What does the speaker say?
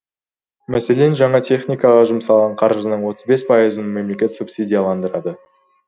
мәселен жаңа техникаға жұмсалған қаржының отыз бес пайызын мемлекет субсидияландырады